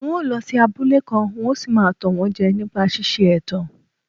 N óo lọ sí abúlé kan, n óo sì máa tàn wọ́n jẹ nípa ṣíṣe ẹ̀tàn.